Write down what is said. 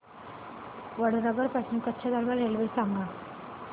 वडनगर पासून कच्छ दरम्यान रेल्वे सांगा